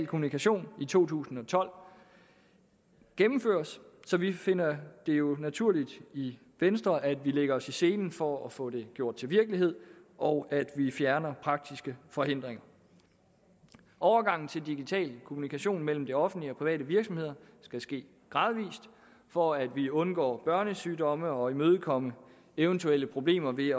kommunikation i to tusind og tolv gennemføres så vi finder det jo naturligt i venstre at vi lægger os i selen for at få det gjort til virkelighed og at vi fjerner praktiske forhindringer overgangen til digital kommunikation mellem det offentlige og private virksomheder skal ske gradvis for at vi undgår børnesygdomme og imødekommer eventuelle problemer ved